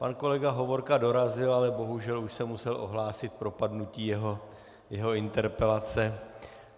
Pan kolega Hovorka dorazil, ale bohužel už jsem musel ohlásit propadnutí jeho interpelace.